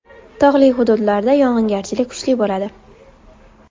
Tog‘li hududlarda yog‘ingarchilik kuchli bo‘ladi.